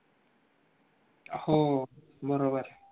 हो बरोबर आय